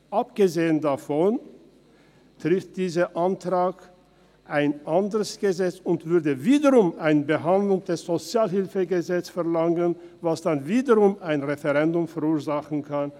Abgesehen davon betrifft dieser Antrag ein anderes Gesetz und würde wiederum eine Behandlung des SHG verlangen, was dann wiederum ein Referendum verursachen kann.